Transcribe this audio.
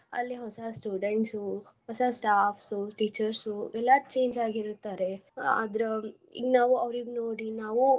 ಅಲ್ಲಿ ಹೊಸಾ students ಉ ಹೊಸ staffs ಉ teachers ಉ ಎಲ್ಲಾ change ಅಗಿರ್ತಾರೆ ಅಹ್ ಆದ್ರ ಈಗ ನಾವ್ ಅವ್ರಿಗ ನೋಡಿ ನಾವು.